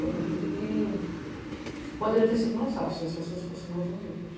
Eu acredito que poderia ter sido mais fácil se as pessoas fossem mais unidas.